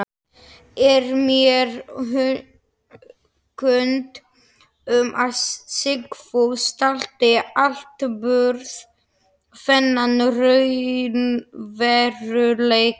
Er mér kunnugt um, að Sigfús taldi atburð þennan raunveruleika.